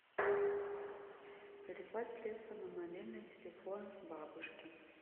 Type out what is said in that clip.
переслать средства на мобильный телефон бабушки